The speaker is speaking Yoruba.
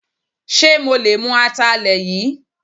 Ṣe mo lè mú Atalẹ yìí?